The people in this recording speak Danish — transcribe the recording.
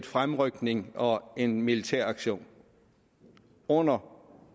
fremrykning og en militæraktion under